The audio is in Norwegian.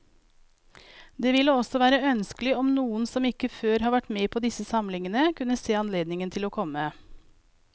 Det ville også være ønskelig om noen som ikke før har vært med på disse samlingene, kunne se seg anledning til å komme.